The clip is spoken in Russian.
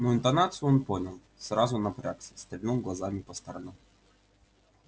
но интонацию он понял сразу напрягся стрельнул глазами по сторонам